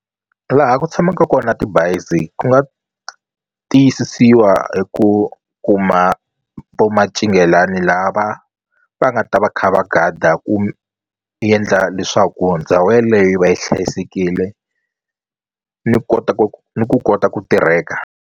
Laha ku tshamaka kona tibazi ku nga tiyisisiwa hi ku kuma vo mancinghelani lava va nga ta va kha va gada ku yendla leswaku ndhawu yeleyo yi va yi hlayisekile ni kota ni ku kota ku tirheka.